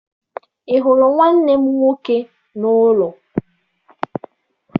Ị hụrụ nwanne m nwoke n'ụlọ?